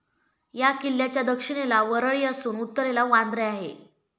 ह्या किल्ल्याच्या दक्षिणेला वरळी असून उत्तरेला वांद्रे आहे.